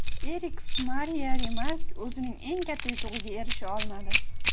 Erix Mariya Remark o‘zining eng katta yutug‘iga erisha olmadi.